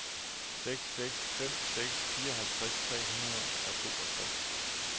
seks seks fem seks fireoghalvtreds tre hundrede og toogtres